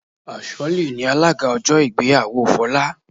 Asholly ni alága ọjọ́ ìgbéyàwó Folá